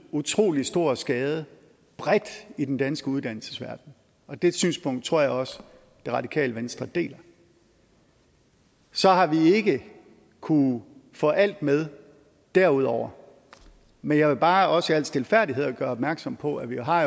utrolig stor skade bredt i den danske uddannelsesverdenen og det synspunkt tror jeg også det radikale venstre deler så har vi ikke kunnet få alt med derudover men jeg vil bare også i al stilfærdighed gøre opmærksom på at vi jo har